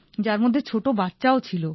যার মধ্যে ছোট বাচ্চাও ছিল